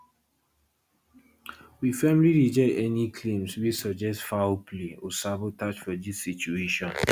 we firmly reject any claims wey suggest foul play or sabotage for dis situation